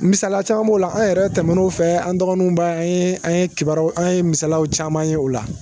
Misaliya caman b'o la an yɛrɛ tɛmɛn'o fɛ an dɔgɔninw ba an ye an ye kibaruyaw an ye misalaw caman ye o la